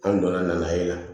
An donna na yen